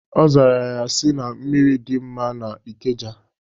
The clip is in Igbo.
Ọ zara ya sị, na mmiri dị mma na Ikeja